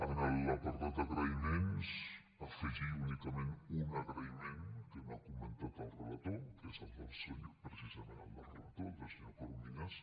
en l’apartat d’agraïments afegir únicament un agraïment que no ha comentat el relator que és precisament el del relator el del senyor corominas